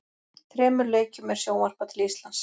Þremur leikjum er sjónvarpað til Íslands.